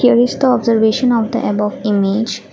here is the observation of the above image.